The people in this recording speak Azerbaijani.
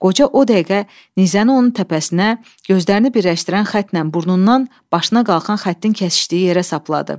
Qoca o dəqiqə nizəni onun təpəsinə, gözlərini birləşdirən xəttlə burnundan, başına qalxan xəttin kəsişdiyi yerə sapladı.